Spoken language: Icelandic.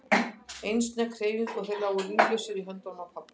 Ein snögg hreyfing og þeir lágu líflausir í höndunum á pabba.